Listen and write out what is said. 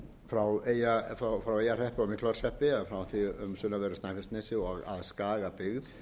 frá því á sunnanverðu snæfellsnesi og að skagabyggð